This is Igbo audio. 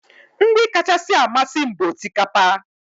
Nri kacha amasị m bụ osikapa